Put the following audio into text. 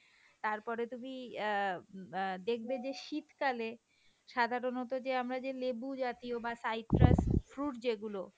তারপরে তুমি অ্যাঁ দেখবে যে শীতকালে সাধারণত আমরা যে লেবু জাতীয় বাহঃ citrus fruit যেগুলো,